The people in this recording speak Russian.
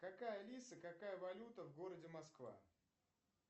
какая алиса какая валюта в городе москва